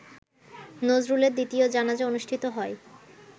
নজরুলের দ্বিতীয় জানাজা অনুষ্ঠিত হয়